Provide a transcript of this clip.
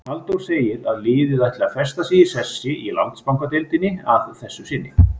Halldór segir að liðið ætli að festa sig í sessi í Landsbankadeildinni að þessu sinni.